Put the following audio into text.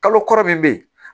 Kalo kɔrɔ min bɛ ye